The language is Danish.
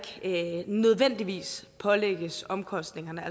nødvendigvis pålægges omkostningerne